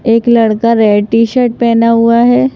एक लड़का red T-shirt पहना हुआ है।